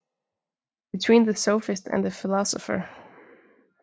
Between the Sophist and the Philosopher